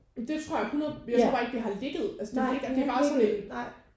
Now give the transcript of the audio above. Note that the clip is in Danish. Det jeg 100 jeg tror bare ikke det har ligget altså det ligger det er bare sådan en